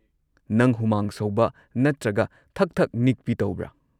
ꯅꯪ ꯍꯨꯃꯥꯡ ꯁꯧꯕ ꯅꯠꯇ꯭ꯔꯒ ꯊꯛ ꯊꯛ ꯅꯤꯛꯄꯤ ꯇꯧꯕ꯭ꯔꯥ?